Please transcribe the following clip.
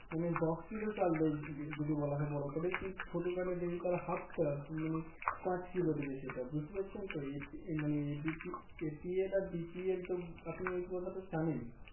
মানে দশ কিলো চাল দেয় যদি বলা হয় বড়ো Card এ ছোট Card এ দেবে তার Half টা মানে পাঁচ কিলো দেবে সেটা বুঝতে পারছেন তো সেটা মানে APLBPL আর BPL তো আপনি এই কথাটা তো জানেন